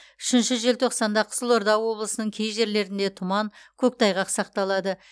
үшінші желтоқсанда қызылорда облысының кей жерлерінде тұман көктайғақ сақталады